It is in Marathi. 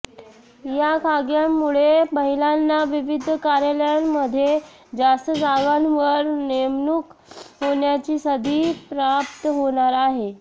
या कायद्यामुळे महिलांना विविध कार्यालयांमध्ये जास्त जागांवर नेमणूक होण्याची संधी प्राप्त होणार आहे